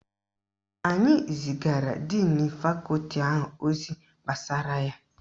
Anyi zigara díìnu Fakọti ahụ ozi gbasara ya.